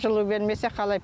жылу бермесе қалай